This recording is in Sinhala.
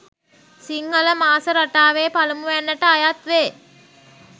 සිංහල මාස රටාවේ පළමුවැන්නට අයත් වේ.